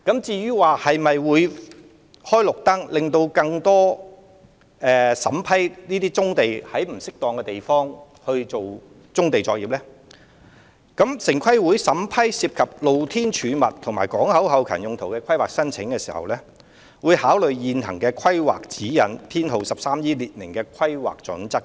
至於會否"開綠燈"，審批更多在不適當場地進行棕地作業的申請，城規會在審批涉及"露天貯物"和港口後勤用途的規劃申請時，會考慮現行的 "13E 規劃指引"所列明的規劃準則行事。